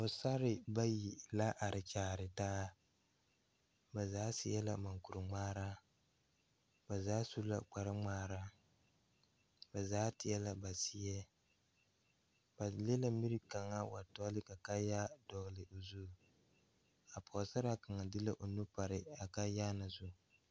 Pɔsarre bayi la are kyaare taa ba zaa seɛ la mankure ngmaara ba zaa su la kpare ngmaara ba zaa teɛ la ba seɛ ba le la mire kaŋa wa tɔle ka kaayaa ka kaayaa dɛle o zu a pɔɔsaraa kaŋa de la o nu paraa kaayaa na zu.